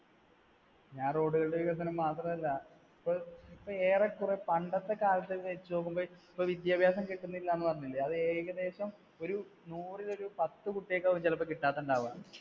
ഞാൻ road കളുടെ വികസനം മാത്രമല്ല, ഇപ്പോ ഏറെക്കുറേ പണ്ടത്തെ കാലത്തെ വെച്ചുനോക്കുമ്പോൾ, ഇപ്പ വിദ്യാഭ്യാസം കിട്ടുന്നില്ല എന്ന് പറഞ്ഞില്ലേ അത് ഏകദേശം ഒരു നൂറിൽ ഒരു പത്തു കുട്ടികൾക്ക് ആവാം ചിലപ്പോൾ കിട്ടാത്ത ഉണ്ടാവാ